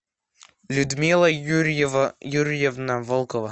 людмила юрьевна волкова